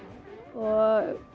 og